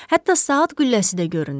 Hətta saat qülləsi də görünür.